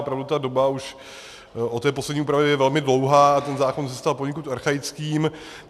Opravdu ta doba už od té poslední úpravy je velmi dlouhá a ten zákon zůstal poněkud archaickým.